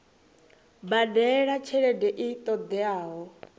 badela tshelede i ṱo ḓeaho